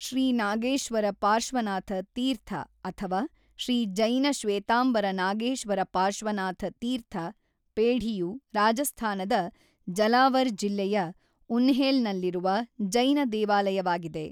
ಶ್ರೀ ನಾಗೇಶ್ವರ ಪಾರ್ಶ್ವನಾಥ ತೀರ್ಥ ಅಥವಾ ಶ್ರೀ ಜೈನ ಶ್ವೇತಾಂಬರ ನಾಗೇಶ್ವರ ಪಾರ್ಶ್ವನಾಥ ತೀರ್ಥ ಪೇಢಿಯು ರಾಜಸ್ಥಾನದ ಜಲಾವರ್ ಜಿಲ್ಲೆಯ ಉನ್ಹೇಲ್‌ನಲ್ಲಿರುವ ಜೈನ ದೇವಾಲಯವಾಗಿದೆ.